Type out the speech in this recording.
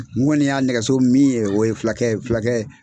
N kɔni y'a nɛgɛso min ye o ye fulakɛ fulakɛ